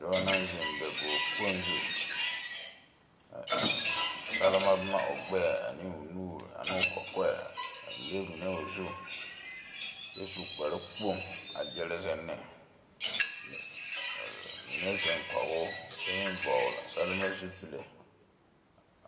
Dɔɔ naŋ ziŋ dakoge kpoŋ zu a eŋ salma boma o gbɛɛ ane o nuuri ane o kɔkɔɛ a leŋ mine o zu kyɛ su kpare kpoŋ a gyere ziŋ ne mine ziŋ kɔŋ o kyɛ meŋ vɔgl salma zupile.